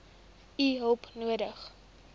u hulp nodig